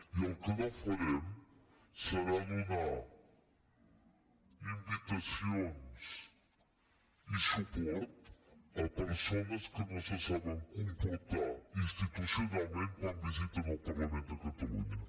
i el que no farem serà donar invitaci·ons i suport a persones que no se saben comportar ins·titucionalment quan visiten el parlament de catalunya